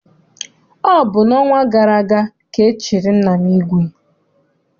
Ọ bụ n'ọnwa gara aga ka e chiri nna m ìgwè.